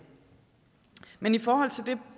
men i forhold til